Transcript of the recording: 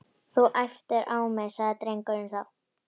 Þú æptir á mig sagði drengurinn þá.